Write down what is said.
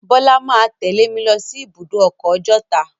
Bọ́lá máa a tẹ́lẹ̀ mi lọ sí ibùdó ọkọ̀ Ọjọ́ta.